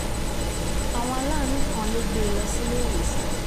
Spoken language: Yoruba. àwọn aláàánú kan ló gbé e lọ síléèwòsàn